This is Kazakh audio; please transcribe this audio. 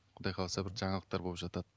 құдай қаласа бір жаңалықтар болып жатады